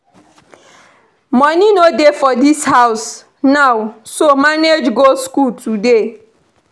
Money no dey for dis house now so manage go school today